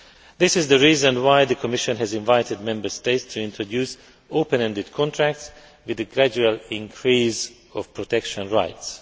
This is the reason why the Commission has invited Member States to introduce open ended contracts with a gradual increase of protection rights.